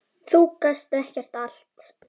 Þú gast gert allt.